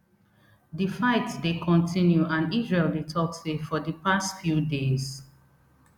di fight dey continue and israel dey tok say for di past few days